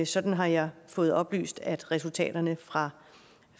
sådan har jeg fået oplyst at resultaterne fra